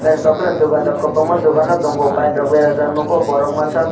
naitotok ke no dokan rok kobangma dokan no tango bike rok berajak nogo borok masa ko.